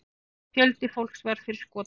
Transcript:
Fjöldi fólks varð fyrir skotum.